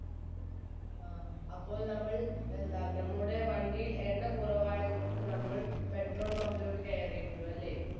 അപ്പോൾ നമ്മൾ എന്താ നമ്മുടെ വണ്ടിയിൽ എണ്ണ കുറവായത് കൊണ്ട് നമ്മൾ petrol pump ലോട്ട് കയറിയിരുന്നു അല്ലെ?